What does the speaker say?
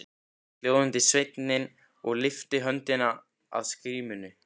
Hljóðaði sveinninn og lyfti höndinni að skímunni.